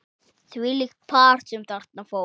Þvílíkt par sem þarna fór.